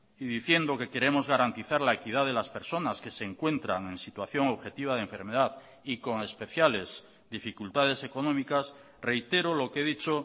y diciendo que queremos garantizar la equidad de las personas que se encuentran en situación objetiva de enfermedad y con especiales dificultades económicas reitero lo que he dicho